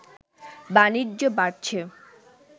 বাণিজ্য বাড়ছে